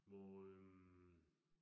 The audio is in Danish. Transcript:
Hvor øh